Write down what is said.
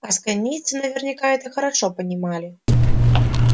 асконийцы наверняка это хорошо понимали